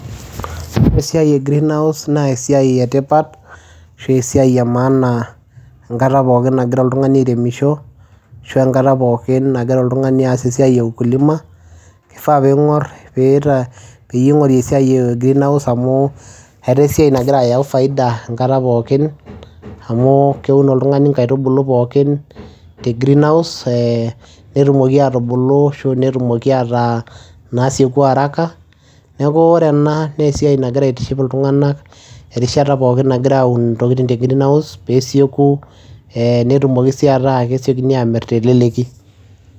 Wore esiai e greenhouse naa esiai etipat, ashu esiai emaana enkata pookin nakira oltungani airemisho, ashu enkata pookin nakira oltungani aas esiai e ukulima. Kifaa pee ingor peeyie ingori esiai e greenhouse amu etaa esiai nakira ayau faida enkata pookin. Amuu keun oltungani inkaitubulu pookin te greenhouse netumoki aatubulu ashu netumoki ataa inaasioku araka. Neeku wore ena naa esiai nakira aitiship iltunganak erishata pookin nakira aun intokitin te greenhouse pee esioku, netumoki sii ataa kesiokini aamir teleleki.